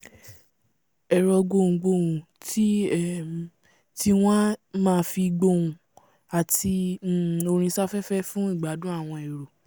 ẹ̀rọ gbohùngbhoùn sí um tí wọ́n a máa fi gbóùn àti um orín sáfẹ́fẹ́ fún ìgbádùn gbogbo èrò